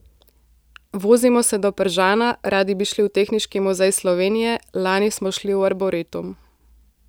Vozimo se do Pržana, radi bi šli v Tehniški muzej Slovenije, lani smo šli v arboretum.